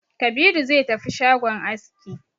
Kabiru zai tafi shagon aski